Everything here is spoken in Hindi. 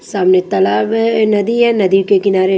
सामने तालाब है नदी है नदी के किनारे--